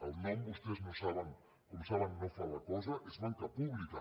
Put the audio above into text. el nom com vostès saben no fa la cosa és banca pública